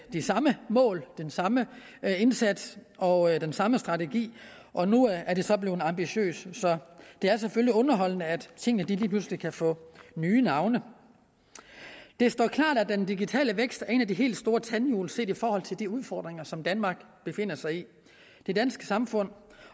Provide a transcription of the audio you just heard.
de samme mål den samme indsats og den samme strategi og nu er det så blevet ambitiøst så det er selvfølgelig underholdende at tingene lige pludselig kan få nye navne det står klart at den digitale vækst er et af de helt store tandhjul set i forhold til de udfordringer som danmark befinder sig i det danske samfund